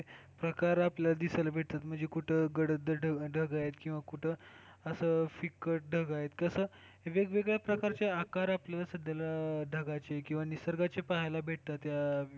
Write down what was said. प्रकार जे आपल्याला दिसायला भेटतात म्हणजे कुठं, गडद ढग आहेत किंवा कुठं असं फिक्कट ढग आहेत तसं वेगवेगळ्या प्रकारचे आकार आपल्याला सध्याला ढगांची किंवा निसर्गाची पाहायला भेटतात या,